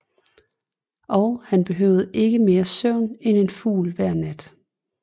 Og han behøvede ikke mere søvn end en fugl hver nat